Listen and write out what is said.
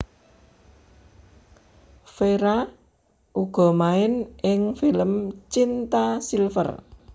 Fera uga main ing film Cinta Silver